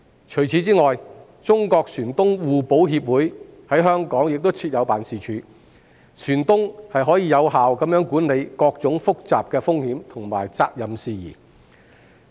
除此之外，中國船東互保協會在香港亦設有辦事處，船東可以有效地管理各種複雜的風險和責任事宜。